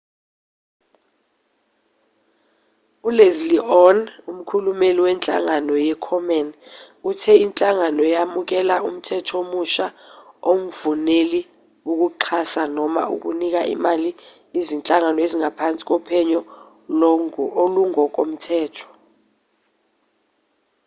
uleslie aun umkhulumeli wenhlangano ye-komen uthe inhlangano yamukela umthetho omusha ongvumeli ukuxhasa noma ukunika imali izinhlangano ezingaphansi kophenyo olungokomthetho